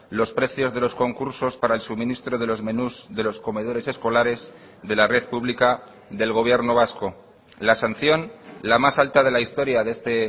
los precios de los concursos para el suministro de los menús de los comedores escolares de la red pública del gobierno vasco la sanción la más alta de la historia de este